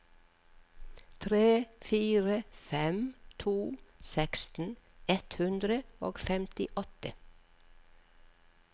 tre fire fem to seksten ett hundre og femtiåtte